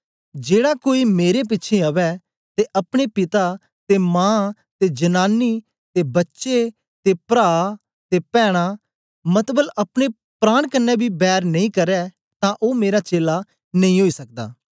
जेड़ा कोई मेरे पिछें अवै ते अपने पिता ते मां ते जनांनी ते बच्चे ते प्रा ते पैना मतबल अपने प्राण कन्ने बी बैर नेई करै तां ओ मेरा चेला नेई ओई सकदा